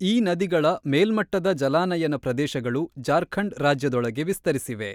ಈ ನದಿಗಳ ಮೇಲ್ಮಟ್ಟದ ಜಲಾನಯನ ಪ್ರದೇಶಗಳು ಜಾರ್ಖಂಡ್ ರಾಜ್ಯದೊಳಗೆ ವಿಸ್ತರಿಸಿವೆ.